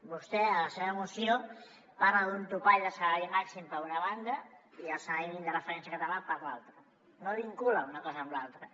vostè a la seva moció parla d’un topall de salari màxim per una banda i del salari mínim de referència català per l’altra no vincula una cosa amb l’altra